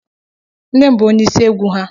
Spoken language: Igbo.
Nne m bụ ónyé ịsị égwu ha.